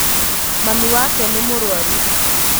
Mami wake nĩ mũrwaru